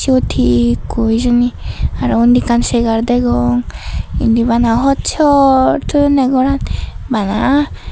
ubot he ikko hijeni aro undi ekkan segar degong indi bana hoch hoch toyonne goran bana.